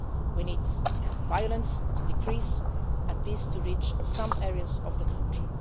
We need violence to decrease and peace to reach some areas of the